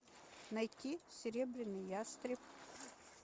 найти серебряный ястреб